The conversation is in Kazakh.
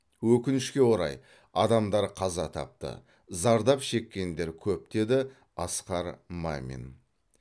өкінішке орай адамдар қаза тапты зардап шеккендер көп деді асқар мамин